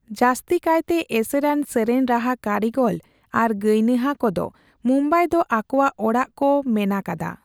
ᱡᱟᱹᱥᱛᱤᱠᱟᱭᱛᱮ ᱮᱥᱮᱨᱟᱱ ᱥᱮᱨᱮᱧ ᱨᱟᱦᱟ ᱠᱟᱹᱨᱤᱜᱚᱞ ᱟᱨ ᱜᱟᱭᱱᱟᱦᱟ ᱠᱚᱫᱚ ᱢᱩᱢᱵᱟᱹᱭ ᱫᱚ ᱟᱠᱚᱣᱟᱜ ᱚᱲᱟᱜ ᱠᱚ ᱢᱮᱱᱟᱠᱟᱫᱟ ᱾